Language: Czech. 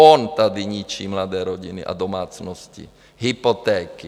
On tady ničí mladé rodiny a domácnosti, hypotéky.